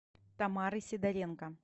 тамары сидоренко